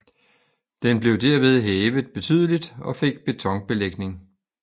Den blev derved hævet betydeligt og fik betonbelægning